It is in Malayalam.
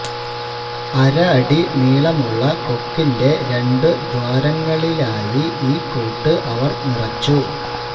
അര അടി നീളമുള്ള കൊക്കിന്റെ രണ്ട് ദ്വാരങ്ങളിലായി ഈ കൂട്ട് അവർ നിറച്ചു